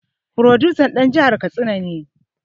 Furodusan dan jihar katsina ne